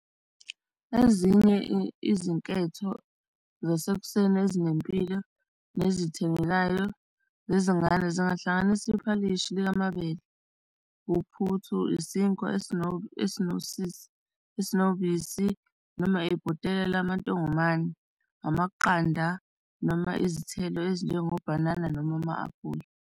Ezinye izinketho zasekuseni ezinempilo nezithengekayo zezingane zingahlanganisa iphalishi likamabele, uphuthu, isinkwa esinosisi, esinobisi noma ibhotela lamantongomane, amaqanda noma izithelo ezinjengo bhanana noma ama-aphula.